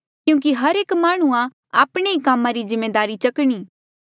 क्यूंकि हर एक माह्णुंआं आपणे ही कामा री जिम्मेदारी चकणी